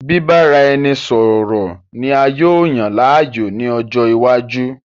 Bìbáraẹnisọọ̀rọ̀ ni a yóò yàn láàyò ní ọjọ́ iwájú